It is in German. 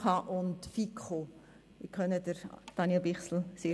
Es sind zwischen 155 und 159 Wahlzettel zurückgekommen.